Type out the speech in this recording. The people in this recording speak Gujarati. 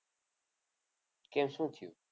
કેમ શું થયું?